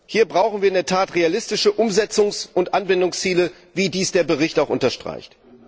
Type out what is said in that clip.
Hier brauchen wir in der Tat realistische Umsetzungs und Anwendungsziele, wie dies der Bericht auch unterstreicht.